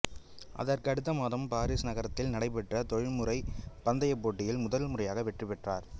அதற்கு அடுத்த மாதம் பாரிஸ் நகரத்தில் நடைபெற்ற தொழில்முறை பந்தயப் போட்டியில் முதல் முறையாக வெற்றி பெற்றார்